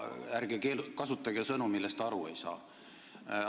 Ärge kasutage sõnu, millest te aru ei saa!